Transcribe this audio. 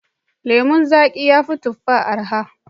Lemon zaƙi ya fi tufa araha.